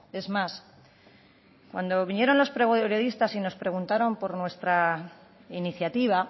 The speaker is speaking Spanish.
es más cuando vinieron los periodistas y nos preguntaron por nuestra iniciativa